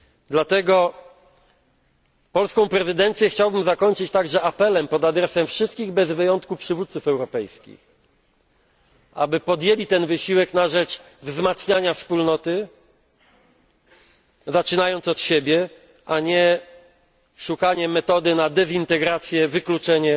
Dlatego polską prezydencję chciałbym zakończyć także apelem pod adresem wszystkich bez wyjątku przywódców europejskich, aby podjęli ten wysiłek na rzecz wzmacniania Wspólnoty, zaczynając od siebie, a nie szukali metody na dezintegrację, wykluczenie